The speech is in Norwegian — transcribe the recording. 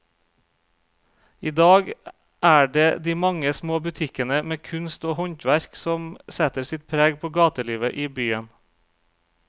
I dag er det de mange små butikkene med kunst og håndverk som setter sitt preg på gatelivet i byen.